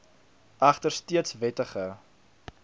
egter steeds wettig